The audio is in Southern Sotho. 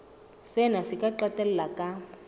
sena se ka qetella ka